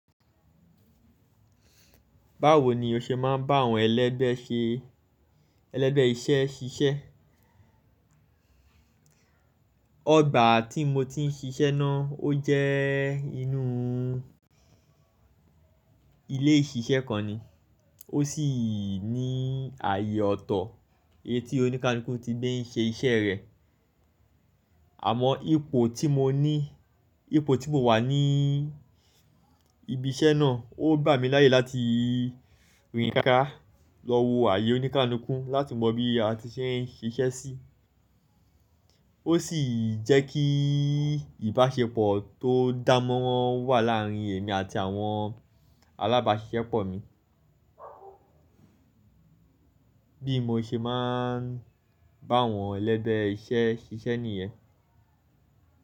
Báwo ni o ṣe máa ń bá àwọn ẹlẹ́bẹ̀ṣẹ́ iṣẹ́ ṣiṣẹ́? Ọgbà tí mo ti ń ṣiṣẹ́ náà ó jẹ́ inú ilé ìṣiṣẹ́ kan ni, ó sì ní ààyè ọ̀tọ̀ etí oníkaluku tí gbé ń ṣe iṣẹ́ rẹ̀. Àmọ́ ipò tí mo ni ipò tí mo wà ní ibi iṣẹ́ náà ó gbà mí láyè láti rìnrìn ká lọ wo ààyè oníkánikún láti mọ bí a ti ṣe ń ṣe iṣẹ́ sí. Ó sì jẹ́ kí ìbáṣepọ̀ tó dámọ́ràn wà láàárín èmi àti àwọn alábáṣiṣẹ́pọ̀ mi. Bí mo ṣe máa ń bá àwọn ẹlẹ́bẹ̀ṣẹ́ iṣẹ́ ṣiṣẹ́ nìyẹn.